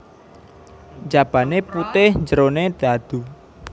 Njabane putih njerone dhadhu